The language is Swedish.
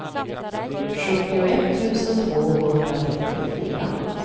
sjuttioett tusen tvåhundratrettiofyra